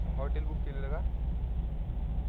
Hotel book केलेलं का?